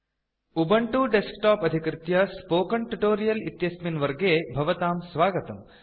Ubuntu desktop अधिकृत्य spoken tutorial इत्यस्मिन् वर्गे भवतां स्वागतम्